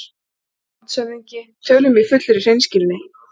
LANDSHÖFÐINGI: Tölum í fullri hreinskilni